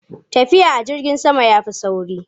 Tafiya a jirgin sama ya fi sauri.